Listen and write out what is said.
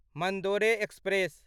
Mandore express